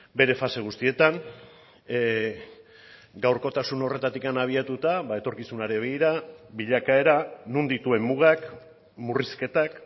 bere fase guztietan gaurkotasun horretatik abiatuta etorkizunari begira bilakaera non dituen mugak murrizketak